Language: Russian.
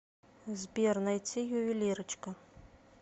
сбер найти ювелирочка